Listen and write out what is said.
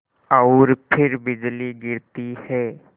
और फिर बिजली गिरती है